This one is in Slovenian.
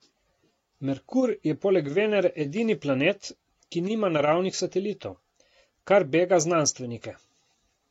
Merkur je poleg Venere edini planet, ki nima naravnih satelitov, kar bega znanstvenike.